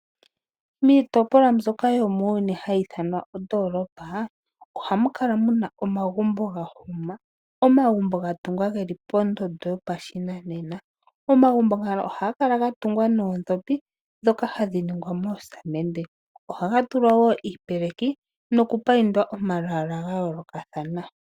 Miitopolwa mbyoka yomuuyuni hayi ithanwa ondoolopa, ohamu kala mu na omagumbo ga hima, omagumbo ga tungwa shili geli pondondo yopashinanena. Omagumbo ngano ohaga kala ga tungwa noondhopi ndhoka hadhi ningwa moosamende. Ohaga tulwa wo iipeleki noku payindwa omalwaala ga yoolokathana.